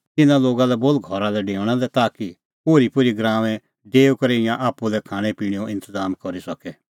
इना लोगा लै बोल घरा डेऊणा लै ताकि ओरीपोरी गराऊंऐं डेऊई करै ईंयां आप्पू लै खाणैंपिणैंओ इंतज़ाम करी सके